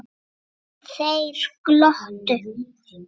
Þeir glottu.